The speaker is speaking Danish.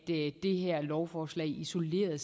det her lovforslag isoleret